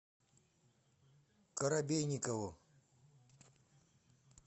коробейникову